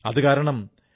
അതുകാരണം ഡോ